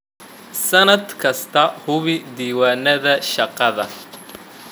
Sannad kasta, hubi diiwaannada shaqada.